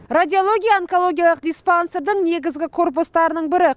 радиология онкологиялық диспансердің негізгі корпустарының бірі